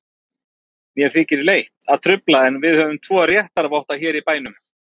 Mér þykir leitt að trufla, en við höfum tvo réttarvotta hér í bænum.